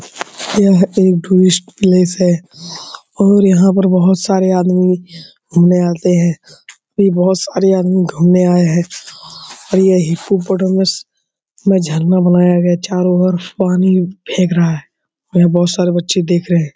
यह एक tourist place है और यहाँ पे बहुत सारे आदमी घुमने आते हैं अभी बहुत सारे आदमी घुमने आए हैं और ये हिपोपोटामस में झरना बनाया गया है चारो और पानी फेक रहा है और यहाँ बहुत सारे बच्चे देख रहे हैं।